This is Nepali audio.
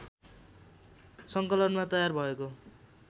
सङ्कलनमा तयार भएको